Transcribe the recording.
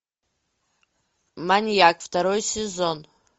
маньяк второй сезон